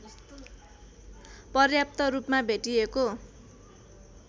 पर्याप्त रूपमा भेटिएको